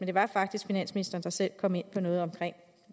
det var faktisk finansministeren der selv kom ind på noget omkring